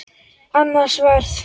Annað sverð.